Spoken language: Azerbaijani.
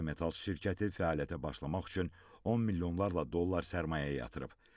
Baza Metals şirkəti fəaliyyətə başlamaq üçün 10 milyonlarla dollar sərmayə yatırıb.